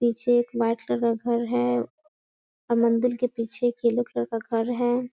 पीछे एक white colour का घर है और मंदिर के पीछे एक येलो कलर का घर है।